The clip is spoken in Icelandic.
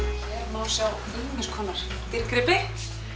má sjá ýmiss konar dýrgripi